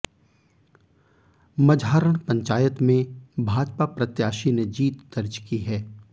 मझारण पंचायत में भाजपा प्रत्याशी ने जीत दर्ज की है